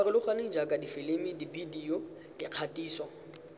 farologaneng jaaka difilimi dibedio dikgatiso